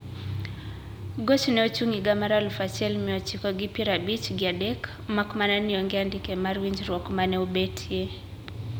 Goch ne ochung higa mar aluf achiel mia ochiko gi pier abich gi adek mak mana ni onge andike mar winjruok ma ne obetie.